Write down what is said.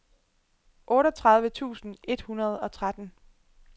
otteogtredive tusind et hundrede og tretten